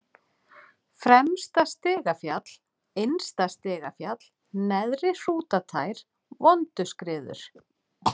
Fremsta-Stigafjall, Innsta-Stigafjall, Neðri-Hrútatær, Vonduskriður